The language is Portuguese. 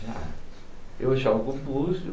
já... Eu jogo o búzio,